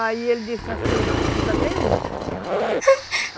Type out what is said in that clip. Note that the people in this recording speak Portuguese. Aí ele disse assim, ainda tem uma.